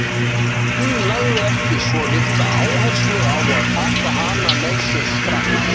Hún lagði ekki svo litla áherslu á að taka hana með sér strax.